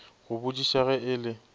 go botšiša ge e le